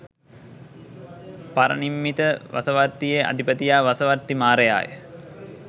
පරනිම්මිත වසවර්තියේ අධිපතියා වසවර්ති මාරයාය